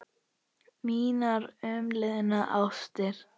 Mínar umliðnu ástir.